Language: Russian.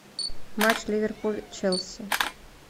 матч ливерпуль челси